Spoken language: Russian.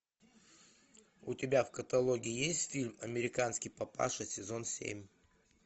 у тебя в каталоге есть фильм американский папаша сезон семь